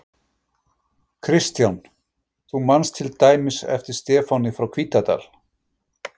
Kristján: Þú manst til dæmis eftir Stefáni frá Hvítadal?